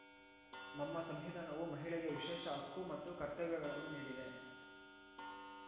ನಮ್ಮ ಸಂವಿಧಾನವು ಮಹಿಳೆಗೆ ವಿಶೇಷ ಹಕ್ಕು ಮತ್ತು ಕರ್ತವ್ಯಗಳನ್ನು ನೀಡಿದೆ